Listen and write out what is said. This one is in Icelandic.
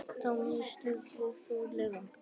Þá missti ég þolinmæðina.